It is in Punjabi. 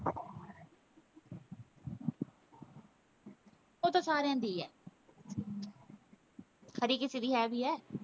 ਉਹ ਤਾਂ ਸਾਰਿਆਂ ਦੀ ਹੈ ਖਰੇ ਕਿਸੇ ਦੀ ਹੈ ਵੀ ਹੈ।